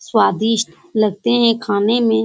स्वादिष्ट लगते हैं खाने में ।